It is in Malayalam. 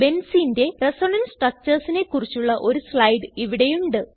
Benzeneന്റെ റിസണൻസ് Structuresനെ കുറിച്ചുള്ള ഒരു സ്ലൈഡ് ഇവിടെയുണ്ട്